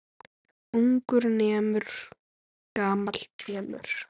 Ungur nemur, gamall temur.